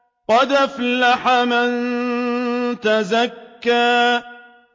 قَدْ أَفْلَحَ مَن تَزَكَّىٰ